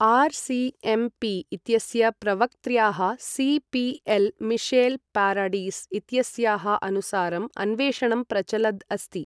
RCMP. इत्यस्य प्रवक्त्र्याः CPL. Michelle Paradis इत्यस्याः अनुसारं अन्वेषणं प्रचलद् अस्ति।